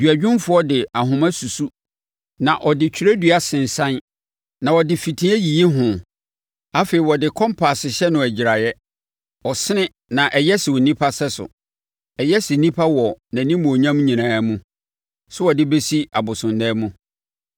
Duadwumfoɔ de ahoma susu na ɔde twerɛdua sensane; na ɔde fitiɛ yiyi ho afei ɔde kɔmpase hyɛ no agyiraeɛ. Ɔsene na ɛyɛ sɛ onipa sɛso, ɛyɛ sɛ onipa wɔ nʼanimuonyam nyinaa mu, sɛ wɔde bɛsi abosonnan mu.